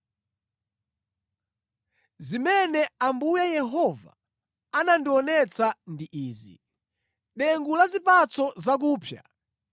Zimene Ambuye Yehova anandionetsa ndi izi: dengu la zipatso zakupsa.